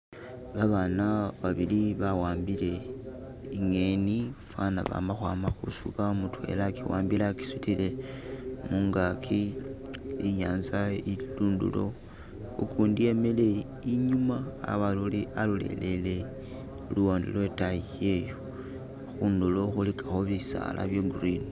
Babaana babili bawambile ingeni fana baama kwaama kusuuba mudwela agiwambile agisudile mungagi inyaza ili lundulo ugundi emile inyuma alolelele luwande lwedayiyoyo khundulo khuligako bisaala byegreen.